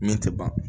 Min tɛ ban